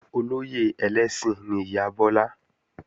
Olóyè ẹlẹ́sìn ni ìyá Bọ́lá